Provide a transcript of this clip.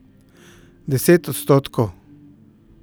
Deset odstotkov.